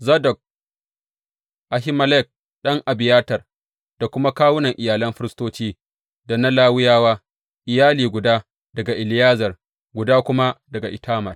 Zadok firist, Ahimelek ɗan Abiyatar da kuma kawunan iyalan firistoci da na Lawiyawa, iyali guda daga Eleyazar, guda kuma daga Itamar.